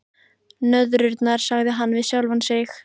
Nöðrurnar, sagði hann við sjálfan sig.